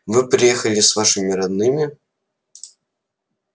вы приехали с вашими родными